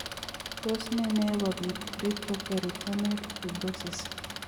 Tos ne neyoe kobit retroperitoneal fibrosis?